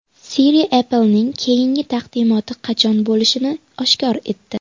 Siri Apple’ning keyingi taqdimoti qachon bo‘lishini oshkor etdi.